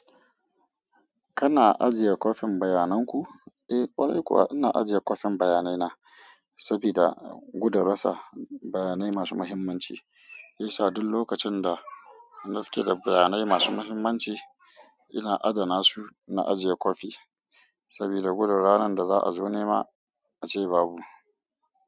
Kana ajiye kwafin bayanan ku? Eh ƙwarai kuwa ina ajiye kwafin bayanai na saboda guda rasa bayanai masu muhimmanci. Shiyasa duk lokacin da nake da bayanai masu muhimmanci ina adana su na ajiye kwafi saboda gudu ranan da za a zo nema ace babu.